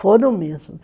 Foram mesmo.